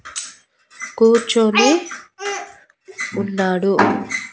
కూర్చొని ఉన్నాడు.